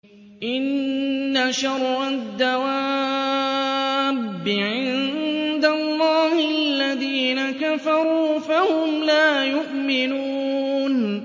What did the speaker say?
إِنَّ شَرَّ الدَّوَابِّ عِندَ اللَّهِ الَّذِينَ كَفَرُوا فَهُمْ لَا يُؤْمِنُونَ